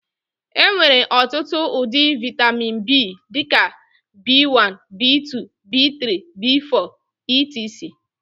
Enwere ọtụtụ ụdị vitamin B dị ka B1, B2, B3, B4 etc